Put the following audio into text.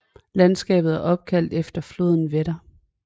Landskabet er opkaldt efter floden Wetter